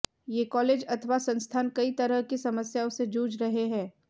ये कालेज अथवा संस्थान कई तरह की समस्याओं से जूझ रहे हैं